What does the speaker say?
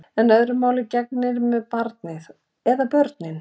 En öðru máli gegnir með barnið. eða börnin.